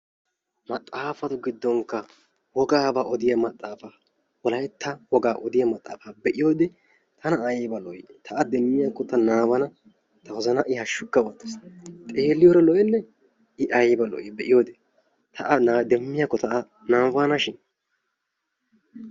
Maxaafatu giddonkka wogaabaa odiywa maxaafa wolaytta wogaa odiya maxaafa be'iyodee tana ayba lo"i! Ta demmiyakko ta nababana ta wozana I hashukka oottees. Xeeliyore lo'enne? I ayba lo"i be'iyodee ta laa a demmiyakko nabanashin.